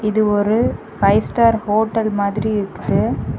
இது ஒரு five star hotel மாதிரி இருக்குது.